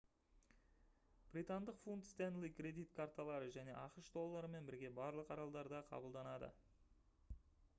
британдық фунт стенли кредит карталары және ақш долларымен бірге барлық аралдарда қабылданады